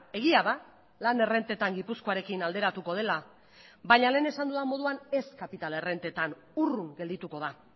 egia da lan errentetan gipuzkoarekin alderatuko dela baina lehen esan dudan moduan ez kapital errentetan urrun geldituko da